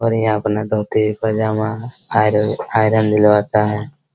और यहाँ अपना धोती पैजामा आर आयरन दिलवाता है।